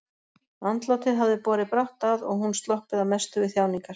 Andlátið hafði borið brátt að og hún sloppið að mestu við þjáningar.